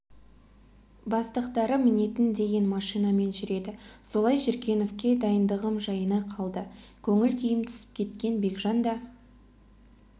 бастықтары мінетін деген машинамен жүреді солай жүргеновке дайындығым жайына қалды көңіл-күйім түсіп кеткен бекжан да